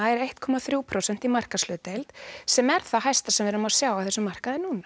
er eitt komma þrjú prósent í markaðshlutdeild sem er það hæsta sem við erum að sjá á þessum markaði núna